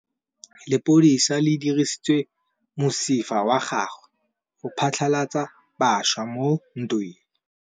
Lepodisa le dirisitse mosifa wa gagwe go phatlalatsa batšha mo ntweng.